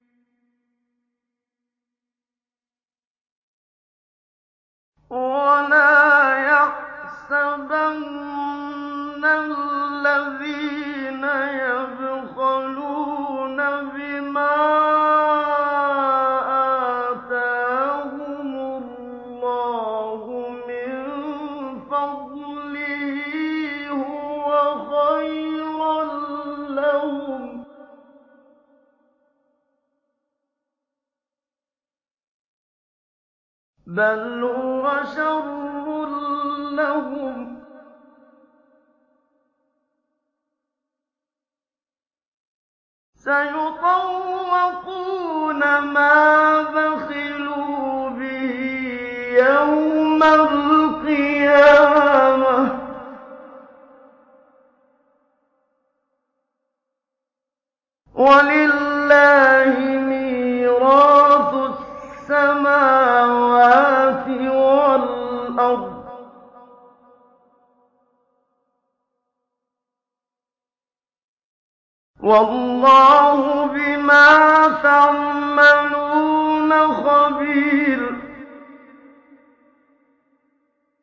وَلَا يَحْسَبَنَّ الَّذِينَ يَبْخَلُونَ بِمَا آتَاهُمُ اللَّهُ مِن فَضْلِهِ هُوَ خَيْرًا لَّهُم ۖ بَلْ هُوَ شَرٌّ لَّهُمْ ۖ سَيُطَوَّقُونَ مَا بَخِلُوا بِهِ يَوْمَ الْقِيَامَةِ ۗ وَلِلَّهِ مِيرَاثُ السَّمَاوَاتِ وَالْأَرْضِ ۗ وَاللَّهُ بِمَا تَعْمَلُونَ خَبِيرٌ